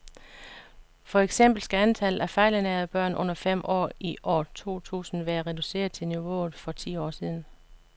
For eksempel skal antallet af fejlernærede børn under fem år i år to tusind være reduceret til niveauet for for ti år siden.